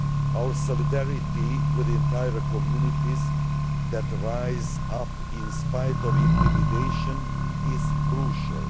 Our solidarity with entire communities that rise up in spite of intimidation is crucial.